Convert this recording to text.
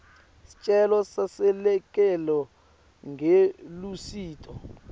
sicelo seselekelelo ngelusito